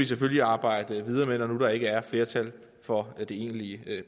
selvfølgelig arbejde videre med når nu der ikke er flertal for det egentlige